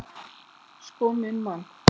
Sko minn mann!